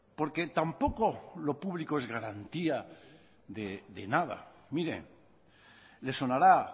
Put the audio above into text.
porque tampoco lo público es garantía de nada mire le sonará